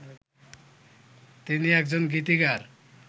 তিনি একজন গীতিকার